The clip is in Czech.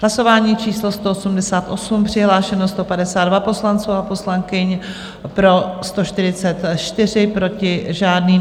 Hlasování číslo 188, přihlášeno 152 poslanců a poslankyň, pro 144, proti žádný.